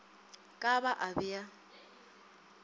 ka ba a be a